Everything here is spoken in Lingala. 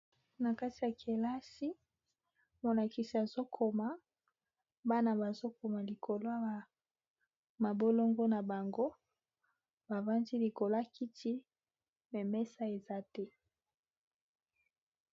Na kati ya kelasi molakisi azokoma bana bazokoma likolo ya mabolongo na bango bavandi likolo ya kiti me mes eza te.